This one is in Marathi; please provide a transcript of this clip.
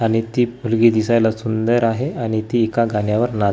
आणि ती पोरगी दिसायला सुंदर आहे आणि ती एका गाण्यावर ना--